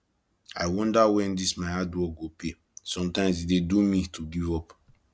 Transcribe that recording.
i wonder wen dis my hard work go pay sometimes e dey do me to give up